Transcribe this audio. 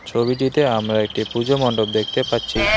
ছবিটিতে আমরা একটি পুজো মণ্ডপ দেখতে পাচ্ছি।